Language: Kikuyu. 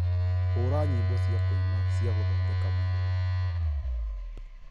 hũra nyĩmbo cia kuina cia gothondeka mwĩrĩ